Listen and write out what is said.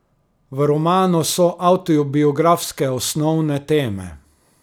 V romanu so avtobiografske osnovne teme.